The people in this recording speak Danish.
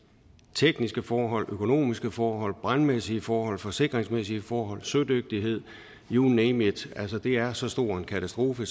tekniske forhold økonomiske forhold brandmæssige forhold forsikringsmæssige forhold sødygtighed you name it det er så stor en katastrofe